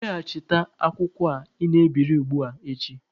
Weghachite akwụkwọ a ị na-ebiri ugbua echi!